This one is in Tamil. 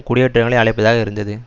குடியேற்றங்களை அழைப்பதாக இருந்தது